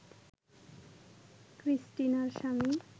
ক্রিস্টিনার স্বামী